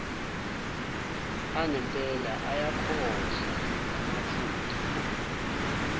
angempela ayakhohlwa ngamaphutha